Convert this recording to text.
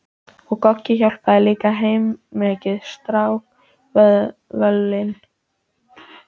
Og Goggi hjálpaði líka heilmikið, strákkvölin.